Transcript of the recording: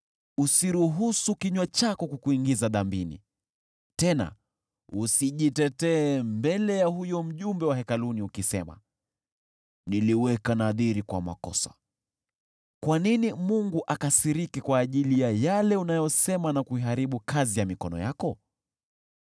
Usiruhusu kinywa chako kukuingiza dhambini. Tena usijitetee mbele ya huyo mjumbe wa hekaluni, ukisema, “Niliweka nadhiri kwa makosa.” Kwa nini Mungu akasirike kwa ajili ya yale unayosema na kuiharibu kazi ya mikono yako?